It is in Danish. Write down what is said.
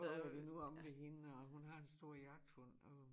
Åh er det nu omme ved hende og hun har en stor jagthund og